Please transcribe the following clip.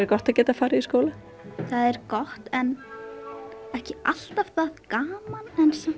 gott að geta farið í skóla það er gott en ekki alltaf það gaman